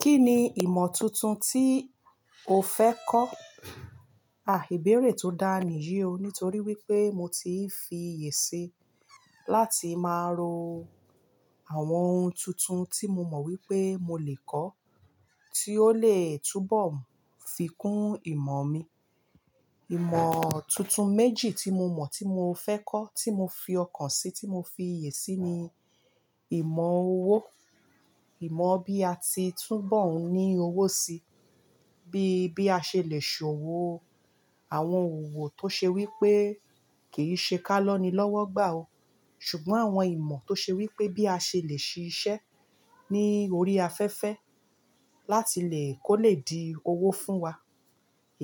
Kí ni ìmọ̀ tuntun tí o fẹ́ kọ́? Àìbéèrè tó dá ni yí o, nítorí wípé mo ti fi ìyè síi láti máa ro àwọn ohun tuntun tí mo mọ̀ wípé mo lè kọ́, tí ó lè túbọ̀ fi kún ìmọ̀ mi. Ìmọ̀ tuntun méjì tí mo mọ̀ tí mo fẹ́ kọ́ tí mo fi ọkàn sí, tí mo fi iyè síi ni ìmọ̀ owó. Ìmọ̀ bí a ti túbọ̀ ń ní owó síi, bí, bí a ṣe lè ṣòwò àwọn òwò tó ṣe wípé kìí ṣe ká lọ́nilọ́wọ́ gbà ó. Ṣùgbọ́n àwọn ìmọ̀ tó ṣe wípé bí a ṣe lè ṣe iṣẹ́ ní orí afẹ́fẹ́ láti lè kó lè di owó fún wa.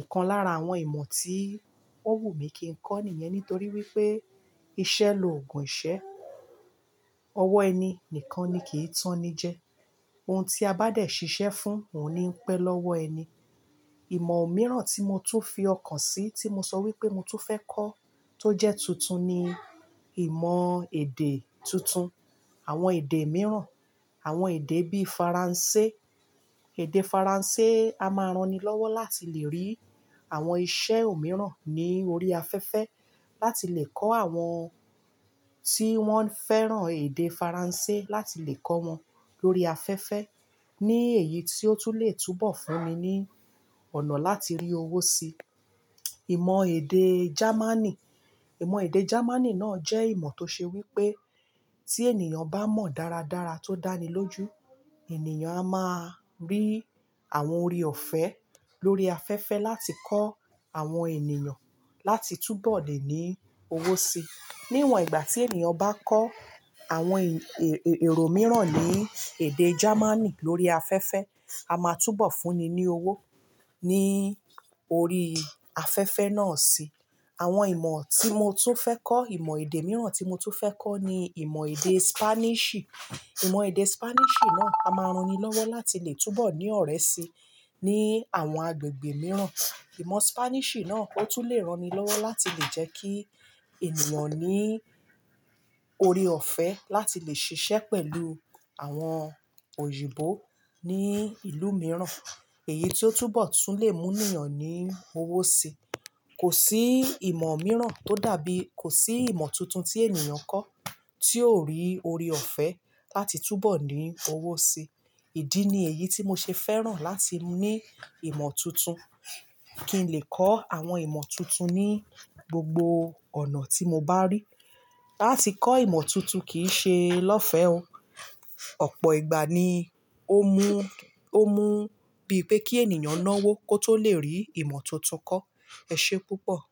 Ìkan lára àwọn ìmọ̀ tí ó wù mí kí n kọ́ nìyẹn nítorí wípé iṣẹ́ lòògùn iṣẹ́. Ọwọ́ ẹni nìkan ni kì í tán ni jẹ. Ohun tí a bá dẹ̀ ṣiṣẹ́ fún, òun ni ń pẹ́ lọ́wọ́ ẹni. Ìmọ̀ mìíràn tí mo tún fi ọkàn sí, tí mo sọ wípé mo tún fẹ́ kọ́ tó jẹ́ tuntun ni ìmọ̀ èdè tuntun. Àwọn èdè mìíràn, àwọn èdè bí i Faransé. Èdè Faransé, a máa ran ni lọ́wọ́ láti lè rí àwọn iṣẹ́ òmíràn ní orí afẹ́fẹ́, láti lè kọ́ àwọn tí wọ́n fẹ́ràn èdè Faransé láti lè kọ́ wọn lórí afẹ́fẹ́. Ní èyí tí ó tún lè túbọ̀ fún mi ní ọ̀nà láti rí owó síi. Ìmọ̀ èdè Jámánì. Ìmọ̀ èdè Jámánì náà jẹ́ ìmọ̀ tó ṣe wípé tí ènìyàn bá mọ̀ dáradára tó dánilójú, ènìyàn a máa rí àwọn ori ọ̀fẹ́ lórí afẹ́fẹ́ láti kọ́ àwọn ènìyàn láti túbọ̀ lè ní owó síi. Níwòn ìgbà tí ènìyàn bá kọ́ àwọn èrò mìíràn ní èdè Jámánì lórí afẹ́fẹ́, a máa túbọ̀ fúnni ní owó ní orí afẹ́fẹ́ náà si. Àwọn ìmọ̀ tí mo tún fẹ́ kọ́, ìmọ̀ èdè mìíràn tí mo tún fẹ́ kọ́ ni ìmọ̀ èdè Spanish. Ìmọ̀ èdè Spanish náà, a máa ran ni lọ́wọ́ láti lè túbọ̀ ní ọ̀rẹ́ síi ní àwọn agbègbè mìíràn. Ìmọ̀ Spanish náà ó tún lè ran ni lọ́wọ́ láti lè jẹ́ kí ènìyàn ní ori ọ̀fẹ́ láti lè ṣiṣẹ́ pẹ̀lú àwọn òyìnbó ní ìlú mìíràn. Èyí tí ó túbọ̀ tún lè mú ènìyàn ní owó síi. Kò sí ìmọ̀ mìíràn tó dàbí-- kò sí ìmọ̀ tuntun tí ènìyàn kọ́ tí ó rí ori ọ̀fẹ́ láti túbọ̀ ní owó síi. Ìdí ni èyí tí mo ṣe fẹ́ràn láti ní ìmọ̀ tuntun. Kí n lè kọ́ àwọn ìmọ̀ tuntun ní gbogbo ọ̀nà tí mo bá rí. Láti kọ́ ìmọ̀ tuntun kì í ṣe lọ́fẹ́ o. Ọ̀pọ̀ ìgbà ni ó mú, ó mú bíi pé kí ènìyàn náwó kó tó lè rí ìmọ̀ tuntun kọ́. Ẹ ṣe púpọ̀.